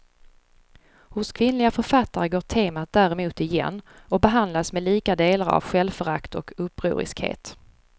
Hos kvinnliga författare går temat däremot igen och behandlas med lika delar av självförakt och upproriskhet.